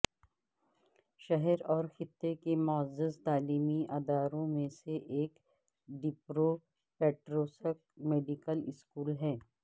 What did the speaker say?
شہر اور خطے کے معزز تعلیمی اداروں میں سے ایک ڈپپروپیٹروسک میڈیکل اسکول ہے